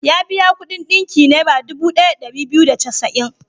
Ya biya kuɗin ɗinki Naira dubu ɗaya da ɗari biyu da casa'in.